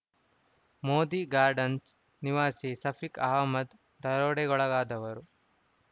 Modi garden ನಿವಾಸಿ ಸಫಿಕ್‌ ಅಹಮ್ಮದ್‌ ದರೋಡೆಗೊಳಗಾದವರು